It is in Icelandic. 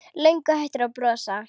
Löngu hættur að brosa.